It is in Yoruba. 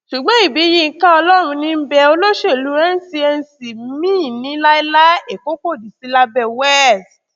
ṣùgbọn ibiyinka ọlọrunníḿbẹ olóṣèlú ncnc ní láíláí èkó kò ní í sí lábẹ west